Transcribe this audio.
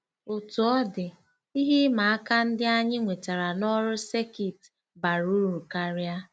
Otú ọ dị, ihe ịma aka ndị anyị nwetara n'ọrụ sekit bara uru karịa.